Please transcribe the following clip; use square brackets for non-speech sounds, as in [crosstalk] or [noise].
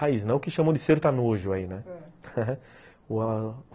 Raiz, não o que chamam de sertanojo aí, né? ãh, [laughs]